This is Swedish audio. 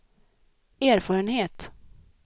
erfarenhet